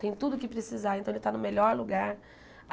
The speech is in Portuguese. Tem tudo o que precisar, então ele está no melhor lugar.